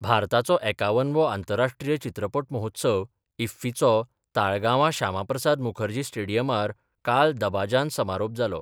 भारताचो एकावनवो आंतराष्ट्रीय चित्रपट महोत्सव, इफ्फीचो ताळगांवां श्यामाप्रसाद मुखर्जी स्टेडीयमार काल दबाजान समारोप जालो.